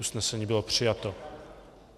Usnesení bylo přijato.